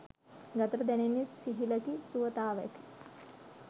ගතට දැනෙන්නේ සිහිලකි සුවතාවකි.